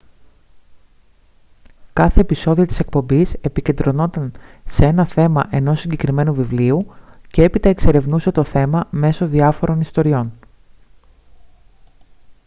κάθε επεισόδιο της εκπομπής επικεντρωνόταν σε ένα θέμα ενός συγκεκριμένου βιβλίου και έπειτα εξερευνούσε το θέμα μέσω διάφορων ιστοριών